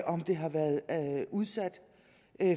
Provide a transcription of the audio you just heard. om det har været udsat